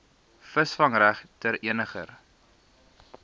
visvangreg ter eniger